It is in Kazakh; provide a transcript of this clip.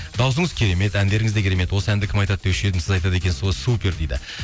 дауысыңыз керемет әндеріңіз де керемет осы әнді кім айтады деуші едім сіз айтады екенсіз екен сіз ғой супер дейді